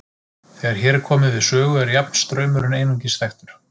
Þegar hér er komið við sögu er jafnstraumurinn einungis þekktur.